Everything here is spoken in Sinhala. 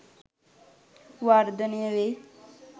වර්ධනය වෙයි